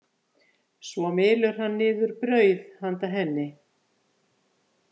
Svo mylur hann niður brauð handa henni.